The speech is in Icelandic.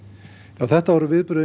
þetta voru viðbrögðin